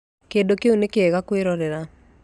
Kĩndũ kĩu nĩ kĩega kwĩrorera